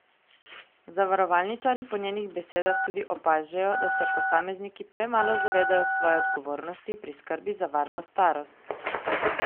Zavarovalničarji po njenih besedah tudi opažajo, da se posamezniki premalo zavedajo svoje odgovornosti pri skrbi za varno starost.